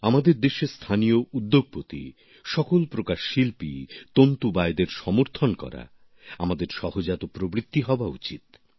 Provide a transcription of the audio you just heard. আমাদের দেশের স্থানীয় উদ্যোগপতি সব ধরণের শিল্পী তন্তুবায়দের সমর্থন করা আমাদের সহজাত প্রবৃত্তি হওয়া উচিত